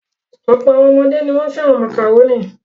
Ọ̀pọ̀ àwọn ọmọdé ni wọ́n fẹ́ràn màkàrónì.